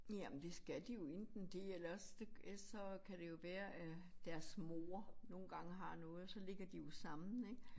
Ja men det skal de jo enten det eller også det ellers så kan det jo være at deres mor nogle gange har noget så ligger de jo sammen ik